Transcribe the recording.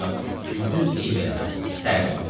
Ancaq gündüz eyib eləməz, sərin olur.